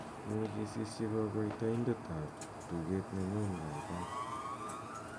imuche isisyi kogoitoidet ab tuget nenyun gaigai